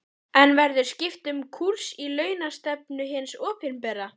En verður skipt um kúrs í launastefnu hins opinbera?